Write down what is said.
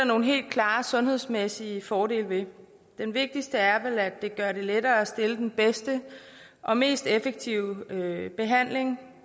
nogle helt klare sundhedsmæssige fordele ved den vigtigste er vel at det gør det lettere at stille den bedste og mest effektive behandling